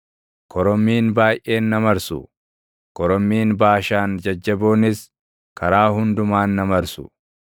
Korommiin baayʼeen na marsu; korommiin Baashaan jajjaboonis karaa hundumaan na marsu.